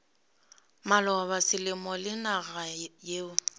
maloba selemo le naga yeo